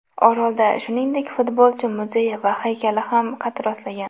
Orolda, shuningdek, futbolchi muzeyi va haykali ham qad rostlagan.